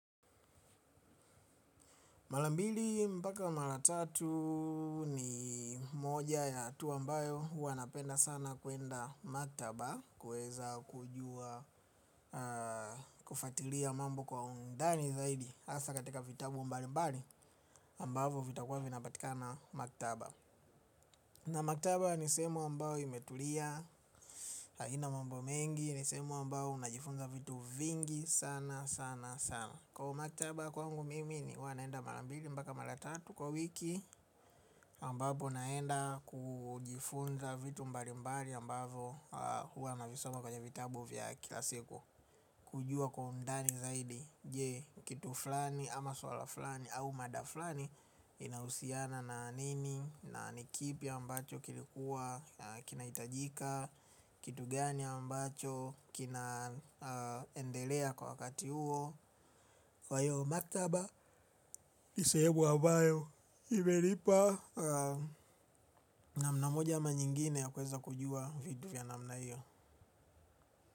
Mara mbili mpaka mara tatu ni moja ya hatua ambayo huwa napenda sana kwenda maktaba kuweza kujua kufuatilia mambo kwa undani zaidi hasa katika vitabu mbalimbali amabavo vitakuwa vinapatikana maktaba. Na maktaba ni sehemu ambayo imetulia haina mambo mengi. Ni sehemu ambayo najifunza vitu vingi sana sana sana. Kwa maktaba kwangu mimi ni huwa naenda mara mbili mpaka mara tatu kwa wiki ambapo naenda kujifunza vitu mbalimbali ambavo huwa navisoma kwenye vitabu vya kila siku. Kujua kwa undani zaidi je kitu fulani ama swala fulani au mada fulani inahusiana na nini. Na nikipi ambacho kilikuwa kinahitajika kitu gani ambacho kinaendelea kwa wakati huo. Kwa hiyo maktaba ni sehemu ambayo imenipa namna moja ama nyingine ya kuweza kujua vitu vya namna hiyo.